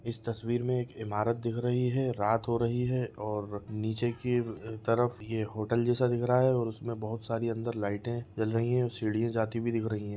इस तस्वीर मे एक इमारत दिख रही है रात हो रही हैं और नीचे के तरफ ये होटल जैसा दिख रहा हैं और उसमे अंदर बहुत सारी लाइटें जल रही हैं और सीढ़ियाँ अंदर जाती हुई दिख रही है।